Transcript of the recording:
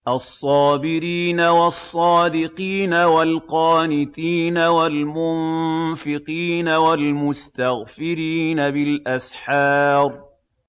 الصَّابِرِينَ وَالصَّادِقِينَ وَالْقَانِتِينَ وَالْمُنفِقِينَ وَالْمُسْتَغْفِرِينَ بِالْأَسْحَارِ